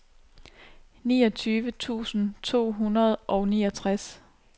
niogtyve tusind to hundrede og niogtres